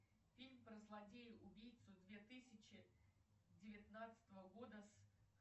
фильм про злодея убийцу две тысячи девятнадцатого года с